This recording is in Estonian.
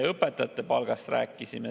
Õpetajate palgast me siin rääkisime.